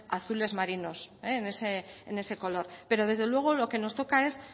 azules marinos en ese color pero desde luego lo que nos toca es